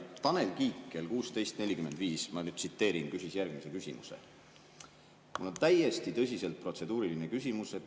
Tanel Kiik kell 16.45 – ma nüüd tsiteerin – küsis järgmise küsimuse: "Mul on täiesti tõsiselt protseduuriline küsimus.